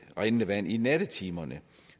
rindende vand i nattetimerne